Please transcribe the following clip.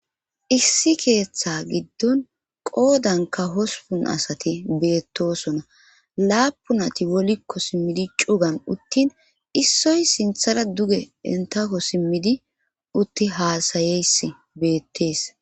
issi keeththa giddon qoodanka hospun asati beettosona laapunati wolikko simmidi cugan uttin issoy sinthara duge entako simmidi utti haasayeyss beettees